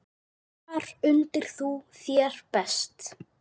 Þar undir þú þér best.